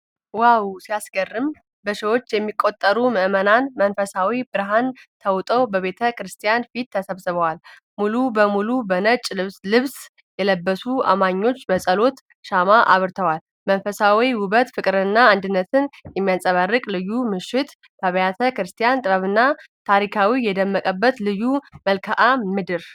ዋው ሲያስገርም! በሺዎች የሚቆጠሩ ምዕመናን በመንፈሳዊ ብርሃን ተውጠው ቤተ ክርስቲያን ፊት ተሰብስበዋል። ሙሉ በሙሉ በነጭ ልብስ የለበሱት አማኞች በጸሎት ሻማ አብርተዋል። መንፈሳዊ ውበት፣ ፍቅርና አንድነት የሚንጸባረቅበት ልዩ ምሽት! የአብያተ ክርስቲያናት ጥበብና ታሪካዊነት የደመቀበት ልዩ መልክዓ ምድር!